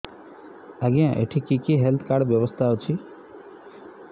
ଆଜ୍ଞା ଏଠି କି କି ହେଲ୍ଥ କାର୍ଡ ବ୍ୟବସ୍ଥା ଅଛି